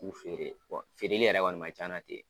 K'u feere wa feereli kɔni man ca ye nɔ ten.